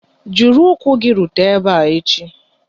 Jiri ụkwụ gị rute ebe a echi!